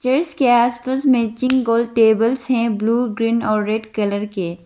जो इसके आस पास मैचिंग गोल टेबल्स है ब्लू ग्रीन और रेड कलर के।